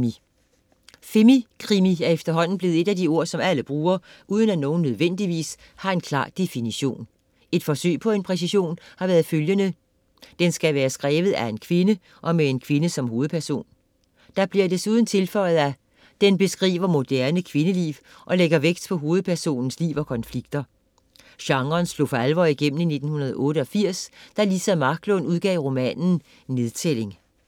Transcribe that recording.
Femikrimi er efterhånden blevet et af de ord, som alle bruger, uden at nogen nødvendigvis har en klar definition. Et forsøg på en præcisering har været følgende: "den skal være skrevet af en kvinde med en kvinde som hovedperson". Det bliver desuden tilføjet at: "den beskriver moderne kvindeliv og lægger vægt på hovedpersonens liv og konflikter ". Genren slog for alvor igennem i 1988, da Liza Marklund udgav romanen Nedtælling.